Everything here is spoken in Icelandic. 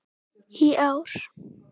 í ár.